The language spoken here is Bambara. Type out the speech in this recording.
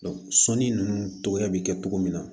sɔnni ninnu cogoya bɛ kɛ cogo min na